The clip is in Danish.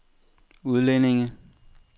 udlændinge